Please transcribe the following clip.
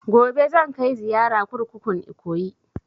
Gobe zan kai ziyara kurkukun Ikoyi